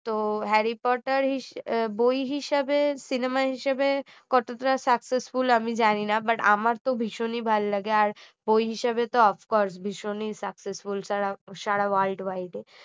তো Harry Potter বই হিসেবে cinema হিসেবে কতটা successful আমি জানি না but আমার তো ভীষণই ভালো লাগে আর বই হিসাবে তো of course ভীষণই successful সারা world wide এ